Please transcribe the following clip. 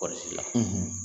Kɔɔrisiko la